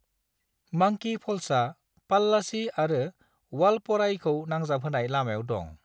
मांकी फ'ल्सआ पल्लाची आरो वालपराईखौ नांजाबहोनाय लामायाव दं।